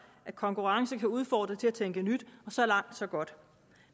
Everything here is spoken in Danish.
at konkurrence kan udfordre til at tænke nyt og så langt så godt